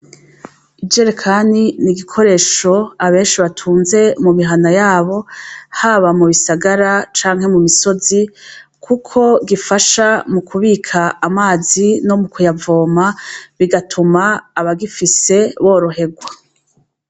Ijerekani ni igikoresho abenshi batunze mu mihana yabo, haba mu bisagara canke mu misozi kuko gifasha mu kubika amazi no mu kuyavoma, bigatuma abagifise borohegwa.